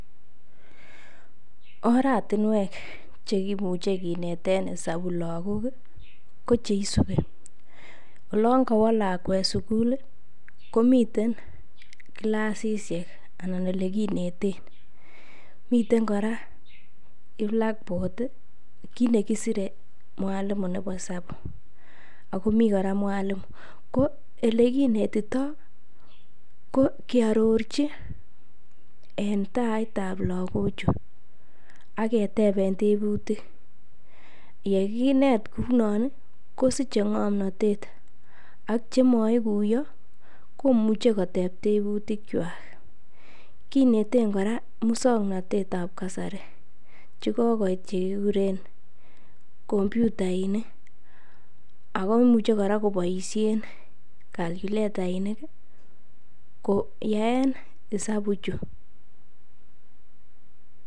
Oratinwek che kimuche kineten isabu lagok koche isubi: olon kowo lakwet sugul, komiten kilasisiek anan ole kineten, miten kora blackboard kiit ne sire mwalimu nebo isabu ago mi kora mwalimu ko ele kinetito ko kearorji en taitab lagochu ak kiteben tebutik, ye kinetkou non kosiche ng'omnatet ak chemo iguiyo komuche koteb tebutikwak, kinete koran muswoknatet ab kasari che kogoit chekiguren kompyutainik ago imuche kora koboishen calculatainik koyaen isabu ichu.